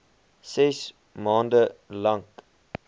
ses maande lank